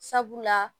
Sabula